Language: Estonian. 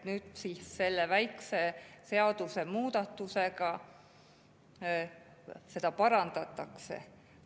Nüüd selle väikese seadusemuudatusega seda parandatakse.